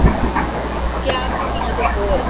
ਕਿਆ ਬਣਾਉਂਦੀ ਹਾਂ ਤੂੰ ਬੋਲ